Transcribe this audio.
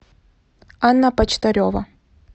анна почтарева